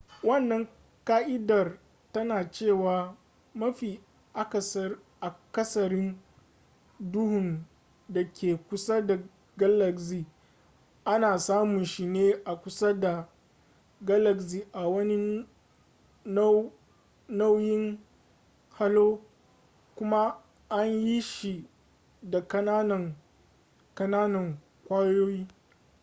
wannan ka'idar tana cewa mafi akasarin duhun da ke kusa da galaxy ana samun shi ne a kusa da galaxy a wani nau'in halo kuma an yi shi da kananan kananan kwayoyi